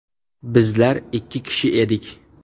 Bizlar ikki kishi edik.